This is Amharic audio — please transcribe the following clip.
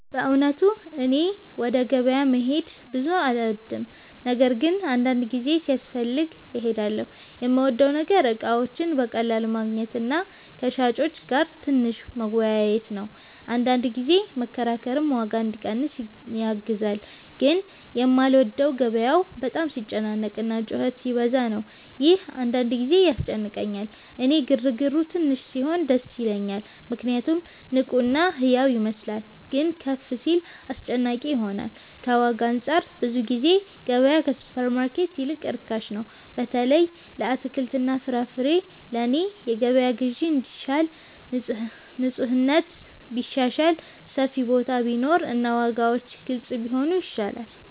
በእውነቱ እኔ ወደ ገበያ መሄድ ብዙ አልወድም፤ ነገር ግን አንዳንድ ጊዜ ሲያስፈልግ እሄዳለሁ። የምወደው ነገር እቃዎችን በቀላሉ ማግኘት እና ከሻጮች ጋር ትንሽ መወያየት ነው፤ አንዳንድ ጊዜ መከራከርም ዋጋ እንዲቀንስ ያግዛል። ግን የማልወደው ገበያው በጣም ሲጨናነቅ እና ጩኸት ሲበዛ ነው፤ ይህ አንዳንድ ጊዜ ያስጨንቀኛል። እኔ ግርግሩ ትንሽ ሲሆን ደስ ይለኛል ምክንያቱም ንቁ እና ሕያው ይመስላል፤ ግን ከፍ ሲል አስጨናቂ ይሆናል። ከዋጋ አንፃር ብዙ ጊዜ ገበያ ከሱፐርማርኬት ይልቅ ርካሽ ነው፣ በተለይ ለአትክልትና ፍራፍሬ። ለእኔ የገበያ ግዢ እንዲሻል ንፁህነት ቢሻሻል፣ ሰፊ ቦታ ቢኖር እና ዋጋዎች ግልጽ ቢሆኑ ይሻላል።